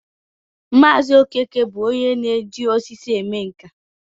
Maazi Okeke bu onye na-eji osisi eme nka